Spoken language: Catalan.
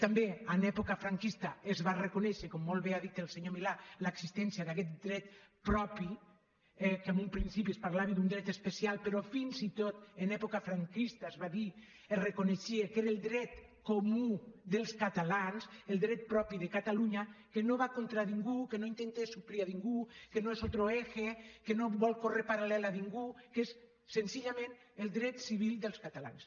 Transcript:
també en època franquista es va reconèixer com molt bé ha dit el senyor milà l’existència d’aquest dret propi que en un principi es parlava d’un dret especial però fins i tot en època franquista es va dir es reconeixia que era el dret comú dels catalans el dret propi de catalunya que no va contra ningú que no intenta suplir a ningú que no és otro eje que no vol córrer paral·lel a ningú que és senzillament el dret civil dels catalans